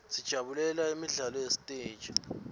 sijabulela imidlalo yasesiteji